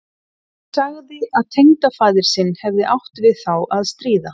Hún sagði að tengdafaðir sinn hefði átt við þá að stríða.